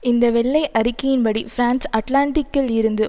இந்த வெள்ளை அறிக்கையின்படி பிரான்ஸ் அட்லான்டிக்கில் இருந்து